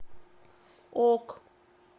ок